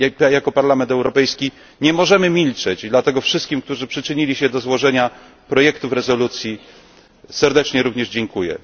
Jako Parlament Europejski nie możemy milczeć i dlatego wszystkim, którzy przyczynili się do złożenia projektów rezolucji również serdecznie dziękuję.